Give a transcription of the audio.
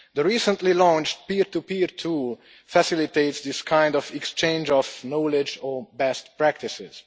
The recently launched peer to peer tool facilitates this kind of exchange of knowledge or best practices.